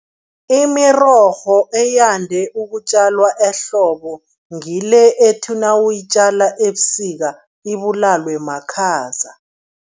Imirorho eyande ukutjalwa ehlobo ngile ethi nawuyitjalako ebusika, ibulalwe makhaza.